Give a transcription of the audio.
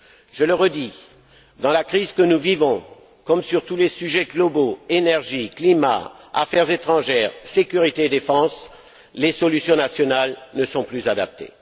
Je le redis, dans la situation de crise que nous vivons, comme sur tous les sujets globaux énergie, climat, affaires étrangères, sécurité et défense les solutions nationales ne sont plus adaptées.